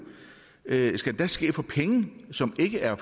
skal ske for penge som ikke er